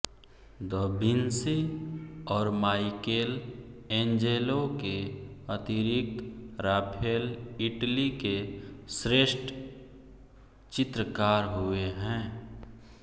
the Vinci और Michelangelo के अतिरिक्त राफेल इटली के श्रेष्ठ चित्रकार हुए हैं